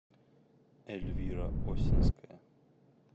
эльвира осинская